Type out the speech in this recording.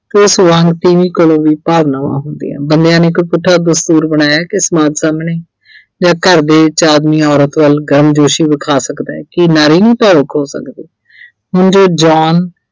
ਤੇ ਉਸ ਵਾਂਗ ਤੀਵੀਂ ਕੋਲ ਵੀ ਭਾਵਨਾਵਾਂ ਹੁੰਦੀਆ, ਬੰਦਿਆਂ ਨੇ ਇੱਕ ਪੁੱਠਾ ਦਸਤੂਰ ਬਣਾਇਆ ਕਿ ਸਮਾਜ ਸਾਹਮਣੇ ਜਾਂ ਘਰ ਦੇ ਵਿੱਚ ਆਦਮੀ ਔਰਤ ਵੱਲ ਗਮਜੋਸ਼ੀ ਵਿਖਾ ਸਕਦਾ ਕੀ ਨਾਰੀ ਨੀ ਭਾਵੁਕ ਹੋ ਸਕਦੀ ਮੁੰਡੇ John